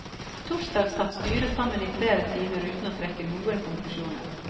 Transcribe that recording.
Torsdag satt styret sammen i flere timer uten å trekke noen konklusjoner.